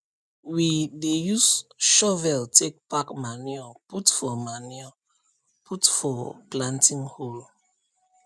we dey use shovel take pack manure put for manure put for planting hole